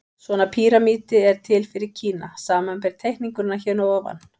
Svona píramídi er til fyrir Kína, samanber teikninguna hér að ofan.